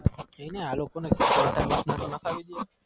કેને આલોકો ને નાખવી દોને